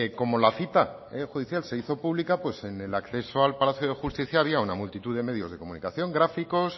como la cita judicial se hizo pública pues en el acceso al palacio de justicia había una multitud de medios de comunicación gráficos